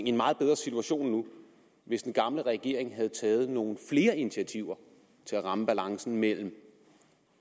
i en meget bedre situationen nu hvis den gamle regering havde taget nogle flere initiativer til at ramme balancen mellem